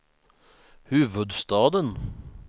huvudstaden